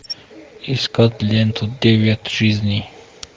искать ленту девять жизней